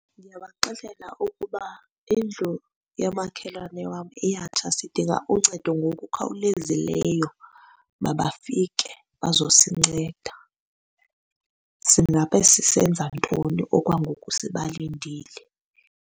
Ndingabaxelela ukuba indlu yamakhelwane wam iyatsha sidinga uncedo ngokukhawulezileyo, mabafike bazosinceda. Singabe sisenza ntoni okwangoku sibalindile?